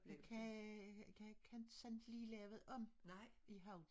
Jeg kan jeg kan ikke sådan lige lave om i hovedet